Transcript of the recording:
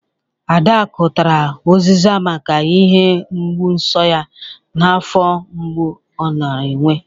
Adakụ tara ụzịza maka ihe mgbụ nso ya na afọ mgbụ ọ nara enwe